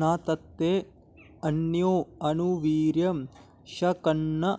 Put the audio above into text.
न तत्ते॑ अ॒न्यो अनु॑ वी॒र्यं॑ शक॒न्न